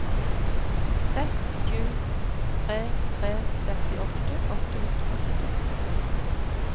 seks sju tre tre sekstitre åtte hundre og syttifem